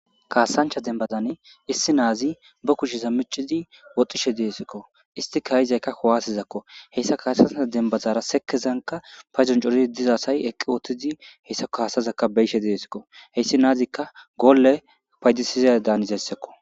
kaasancha dembazan issi naazi ba kushiza micidi woxishe deesikko isti kayizaykka kuwaasizakko heyssa kaasancha dembazara sekezanka payzon coridi dizaasay eqqi oothtidi heyssako haasazakka beyishe deesikko heyssi naazikka goolle paydisiza danizaysako